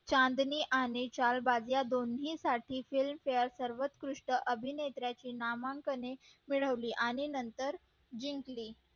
चांदणी आणि चाल बाज या दोन्ही साठी films fare सर्वकृष अभिनेत्रीचे नामांकन मिळवले आणि नंतर जिंकली